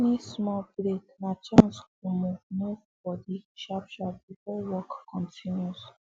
any small break na chance to move to move body sharp sharp before work continue